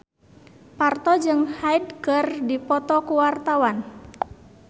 Parto jeung Hyde keur dipoto ku wartawan